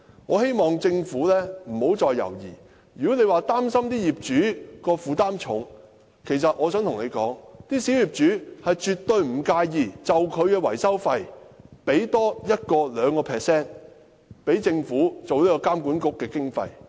我希望政府不要再猶豫，如果政府擔心業主會負擔沉重，那我想告訴政府，小業主絕不介意多付 1% 或 2% 的維修費，供政府作為監管局的經費。